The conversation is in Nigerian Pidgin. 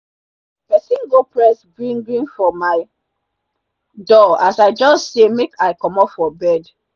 pesin go press glin glin for my door as i jus say make i comot for bed